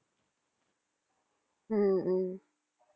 உம் உம்